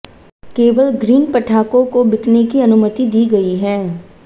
केवल ग्रीन पटाखों को बिकने की अनुमति दी गई है